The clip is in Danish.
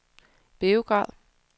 Beograd